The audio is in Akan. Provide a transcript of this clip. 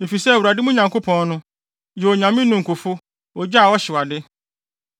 Efisɛ Awurade, mo Nyankopɔn no, yɛ Onyame ninkufo, ogya a ɔhyew ade.